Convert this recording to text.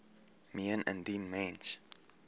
meen indien mens